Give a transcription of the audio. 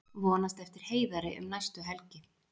Vonast eftir Heiðari um næstu helgi